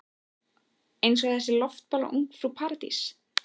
Eins og þessi loftbóla Ungfrú Paradís.